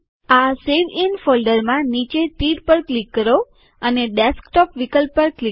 આ save in folder માં નીચે તીર પર ક્લિક કરો અને ડેસ્કટોપ વિકલ્પ પર ક્લિક કરો